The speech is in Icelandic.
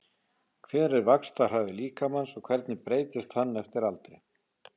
Hver er vaxtarhraði líkamans og hvernig breytist hann eftir aldri?